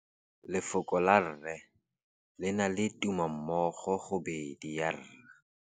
Lefoko la rre, le na le tumammogôpedi ya, r.